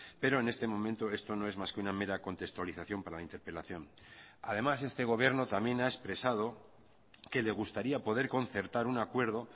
pero en este momento esto no es más que una mera contextualización para la interpelación además este gobierno también ha expresado que le gustaría poder concertar un acuerdo